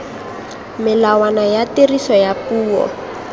melawana ya tiriso ya puo